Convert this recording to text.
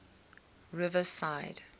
riverside